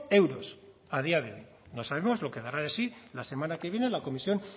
euros a día de hoy no sabemos lo que dará de sí la semana que viene en la comisión